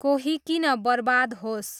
कोही किन बर्बाद होस्